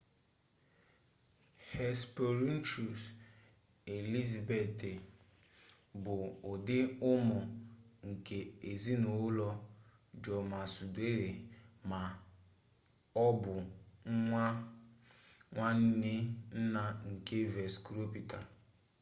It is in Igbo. hesperonychus elizabethae bụ ụdị ụmụ nke ezinụlọ dromaeosauridae ma ọ bụ nwa nwanne nna nke velociraptor